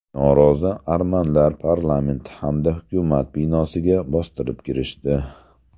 Norozi armanlar parlament hamda hukumat binosiga bostirib kirishdi.